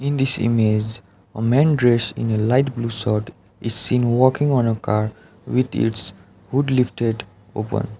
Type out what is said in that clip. in this image a men dressed in a light blue shirt is seen walking on a car with its hood lifted open.